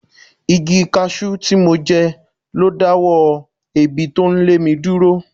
Igi cashew tí mo jẹ lo dáwọ́ èébì tó ń lé mi dúró.